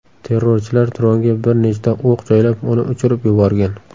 Terrorchilar dronga bir nechta o‘q joylab, uni uchirib yuborgan.